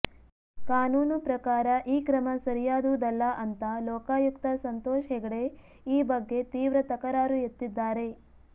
ಕಾನೂನು ಪ್ರಕಾರ ಈ ಕ್ರಮ ಸರಿಯಾದುದಲ್ಲ ಅಂತ ಲೋಕಾಯುಕ್ತ ಸಂತೋಷ ಹೆಗ್ಡೆ ಈ ಬಗ್ಗೆ ತೀವ್ರ ತಕರಾರು ಎತ್ತಿದ್ದಾರೆ